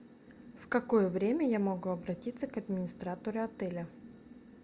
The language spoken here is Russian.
в какое время я могу обратиться к администратору отеля